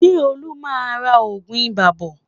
Ṣé Olú máa ra oògùn ibà bọ̀?